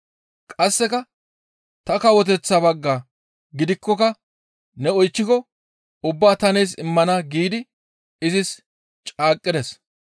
Qasseka ta kawoteththa baggaa gididaakkoka ne oychchiko ubbaa ta nees immana giidi izis caaqqides.